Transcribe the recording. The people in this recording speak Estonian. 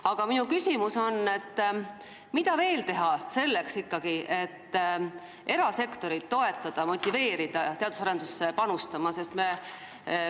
Aga mida veel teha selleks, et motiveerida erasektorit teadus- ja arendustegevusse panustama?